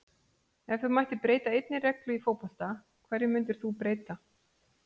Ef þú mættir breyta einni reglu í fótbolta, hverju myndir þú breyta??